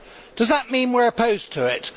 Does that mean we are opposed to it?